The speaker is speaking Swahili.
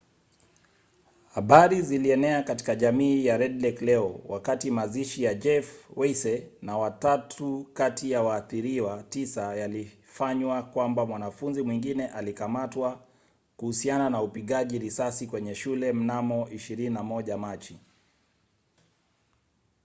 habari zilienea katika jamii ya red lake leo wakati mazishi ya jeff weisse na watatu kati ya waathiriwa tisa yalifanywa kwamba mwanafunzi mwingine alikamatwa kuhusiana na upigaji risasi kwenye shule mnamo 21 machi